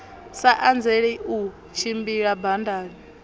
sa anzeli u tshimbila badani